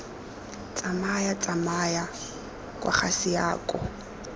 tsamaya tsamaya kwa ga seako